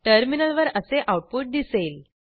टर्मिनलवर असे आऊटपुट दिसेल